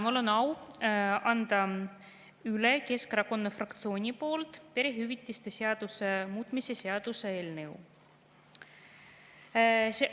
Mul on au anda üle Keskerakonna fraktsiooni nimel perehüvitiste seaduse muutmise seaduse eelnõu.